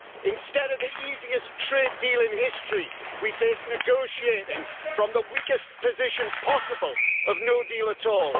Instead of the easiest trade deal in history, we face negotiating from the weakest position possible, of no deal at all.